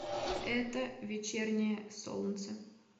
это вечернее солнце